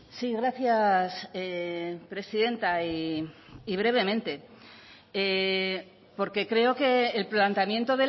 sí gracias presidenta y brevemente porque creo que el planteamiento